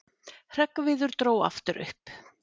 Hreggviður dró aftur upp